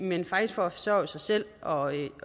men faktisk for at forsørge sig selv og